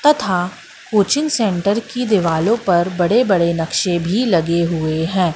तथा coaching centre की दिवालों पर बड़े बड़े नक्शे भी लगे हुए हैं।